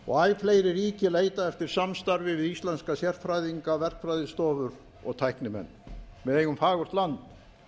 og æ fleiri ríki leita eftir samstarfi við íslenska sérfræðinga verkfræðistofur og tæknimenn við eigum fagurt land